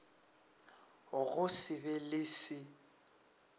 go se be le se